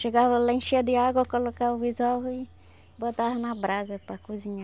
Chegava lá, enchia de água, colocava os ovos e botava na brasa para cozinhar.